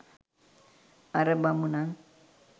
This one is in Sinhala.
අර බමුණන්